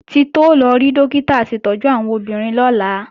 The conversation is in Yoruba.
Títí ó lọ rí Dókítà aṣètọ́jú àwọn obìnrin lọ́la